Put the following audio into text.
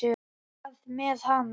Hvað með hana?